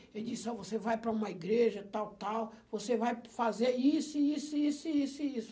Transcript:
Ele disse, ó, você vai para uma igreja, tal, tal, você vai fazer isso, isso, isso, isso, isso.